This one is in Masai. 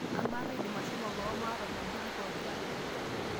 amaa kaidim ashomo boo maata ormambuli pooki ake